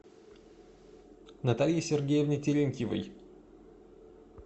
наталье сергеевне терентьевой